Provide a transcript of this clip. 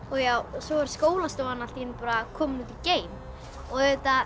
svo var skólastofan allt í einu kominn upp í geim auðvitað